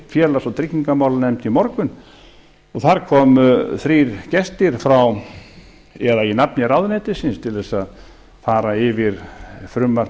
félags og tryggingamálanefnd í morgun og þar komu þrír gestir í nafni ráðuneytisins til þess að fara yfir frumvarp